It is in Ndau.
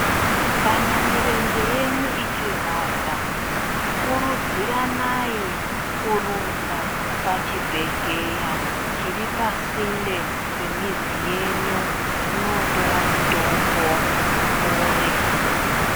Kana mirenje yenyu ichirwadza kurudziranai kurumba pachibhedhlera chiri pasinde pemizi yenyu, munotora mitombo mupore